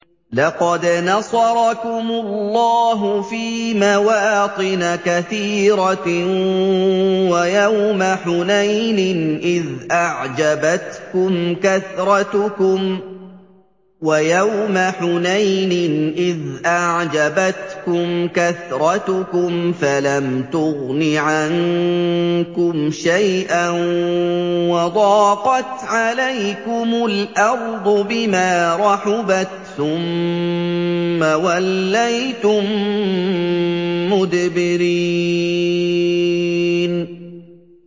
لَقَدْ نَصَرَكُمُ اللَّهُ فِي مَوَاطِنَ كَثِيرَةٍ ۙ وَيَوْمَ حُنَيْنٍ ۙ إِذْ أَعْجَبَتْكُمْ كَثْرَتُكُمْ فَلَمْ تُغْنِ عَنكُمْ شَيْئًا وَضَاقَتْ عَلَيْكُمُ الْأَرْضُ بِمَا رَحُبَتْ ثُمَّ وَلَّيْتُم مُّدْبِرِينَ